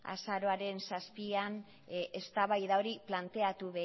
azaroaren zazpian eztabaida hori planteatu